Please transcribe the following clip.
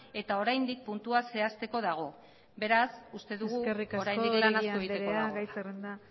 eta oraindik puntua zehazteko dago beraz uste dugu oraindik lan asko egiteko dagoela eskerrik asko oregi anderea gai zerrenda